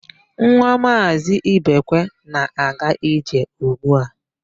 Nwa Maazị Ibekwe na-aga ije ugbu a.